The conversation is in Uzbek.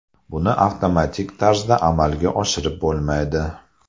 Buni avtomatik tarzda amalga oshirib bo‘lmaydi.